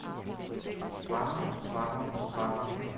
strammer strammer strammer